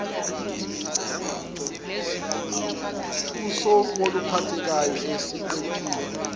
kosuku oluphathekayo esiqephini